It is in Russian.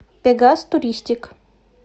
пегас туристик